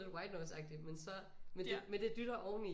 Lidt white noise agtigt men så men det dytter oveni så